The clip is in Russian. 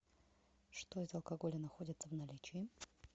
что из алкоголя находится в наличии